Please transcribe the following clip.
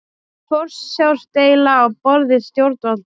Forsjárdeila á borði stjórnvalda